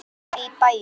Mamma í bæinn.